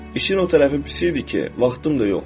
İşin o tərəfi pis idi ki, vaxtım da yoxdu.